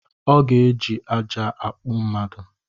Ọ ga eji ajja akpụọ mmadu